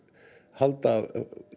halda